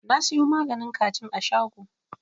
Na siyo maganin kajin a shago.